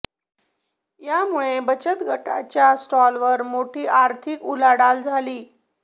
यामुळे बचत गटांच्या स्टॉलवर मोठी आर्थिक उलाढाल झाली